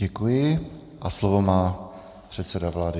Děkuji a slovo má předseda vlády.